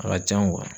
A ka can